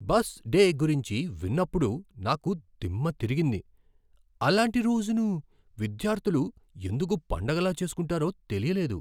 Bus day గురించి విన్నప్పుడు నాకు దిమ్మ తిరిగింది, అలాంటి రోజును విద్యార్థులు ఎందుకు పండగలా చేస్కుంటారో తెలియలేదు.